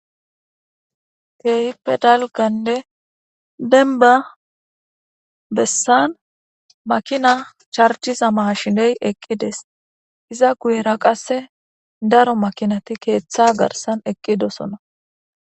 Kehippe daligga bessani makinna charigiza mashineyi eqi dessi iza guyera darro makinati ketha garissani eqidosona.